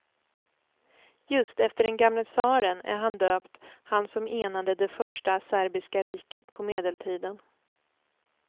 Just efter den gamle tsaren är han döpt, han som enade det första serbiska riket på medeltiden.